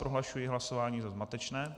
Prohlašuji hlasování za zmatečné.